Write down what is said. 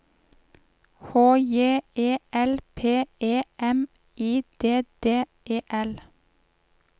H J E L P E M I D D E L